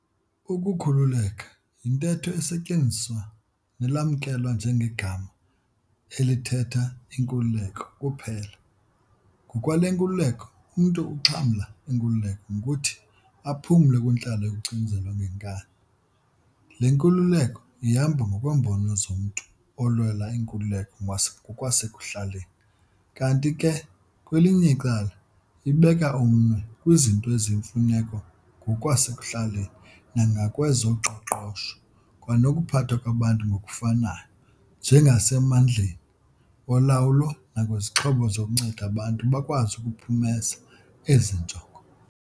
Ukukhululeka yintetho esetyenziswa nelamkelwa njengegama elithehta inkululeko kuphela, ngokwale nkululeko umntu uxhamla inkululeko ngokuthi aphume kwintlalo yokucinezelwa ngenkani, le nkululeko ihamba ngokweembono zomntu olwela inkululeko ngokwasekuhlaleni, kanti ke kwelinye icala, ibeka umnwe kwizinto eziyimfuneko ngokwasekuhlaleni nangokwezoqoqosho kwanokuphathwa kwabantu ngokufanayo, njengasemandleni olawulo nakwizixhobo zokunceda abantu bakwazi ukuphumeza ezi njongo.